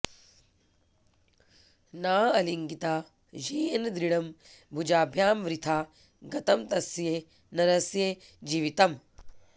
नाऽऽलिङ्गिता येन दृढं भुजाभ्यां वृथा गतं तस्य नरस्य जीवितम्